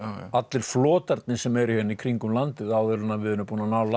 allir flotarnir sem eru hérna kringum landið áður en við erum búin að